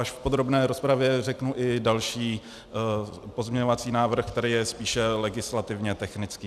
Až v podrobné rozpravě řeknu i další pozměňovací návrh, který je spíše legislativně technický.